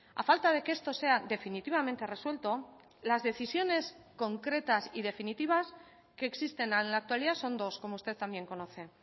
a falta de que esto sea definitivamente resuelto las decisiones concretas y definitivas que existen en la actualidad son dos como usted también conoce